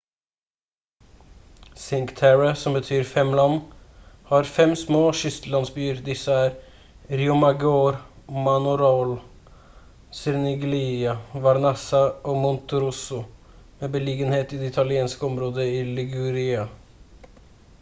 cinque terre som betyr fem land har fem små kystlandsbyer disse er riomaggiore manarola corniglia vernazza og monterosso med beliggenhet i det italienske området i liguria